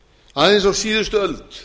aðeins á síðustu öld